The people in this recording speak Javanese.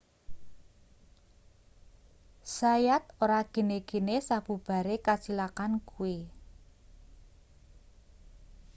zayat ora gene-gene sabubare kacilakan kuwi